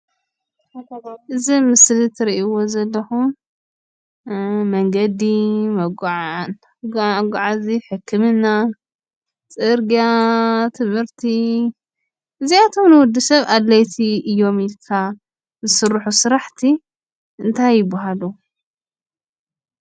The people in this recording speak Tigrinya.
እዚ ምስሊ እትርእይዎ ዘለኹም መንገዲ፣ መጓዓዚ፣ ሕክምና፣ ፅርግያ፣ ትምህርቲ እዚኣቶም ንወድሰብ ኣድለይቲ እዮም ኢልካ ዝስርሑ ስራሕቲ እንታይ ይብሃሉ?